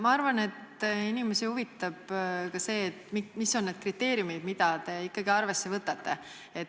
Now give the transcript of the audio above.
Ma arvan, et inimesi huvitab ka see, mis on need kriteeriumid, mida te ikkagi arvesse võtate.